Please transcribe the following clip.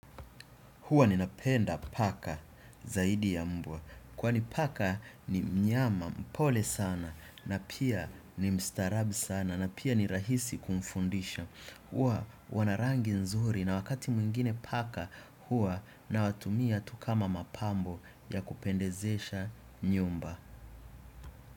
Huwa ni napenda paka zaidi ya mbwa. Kwani paka ni mnyama mpole sana na pia ni mstarabi sana na pia ni rahisi kumfundisha. Huwa wanarangi nzuri na wakati mwingine paka huwa na watumia tukama mapambo ya kupendezesha nyumba.